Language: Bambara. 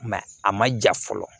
a ma ja fɔlɔ